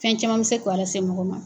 Fɛn caman bɛ se ko a lase mɔgɔ ma.